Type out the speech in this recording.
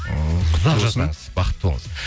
ыыы ұзақ жасаңыз бақытты болыңыз